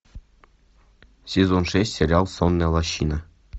сезон шесть сериал сонная лощина